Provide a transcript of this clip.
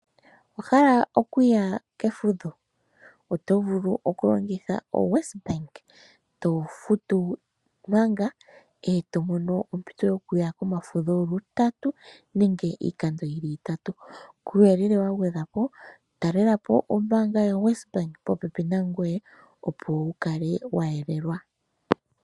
Owa hala okuya kefudho? Oto vulu okulongitha oWesbank, to futu manga, e to mono ompito yokuya komafudho lutatu nenge iikando yi li itatu. Kuuyelele wa gwedhwa po, talela po ombaanga yoWesbank popepi nangoye, opo wu kale wa yelelwa.